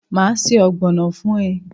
Maa se ogbono fun e